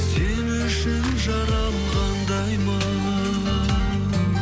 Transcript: сен үшін жаралғандаймын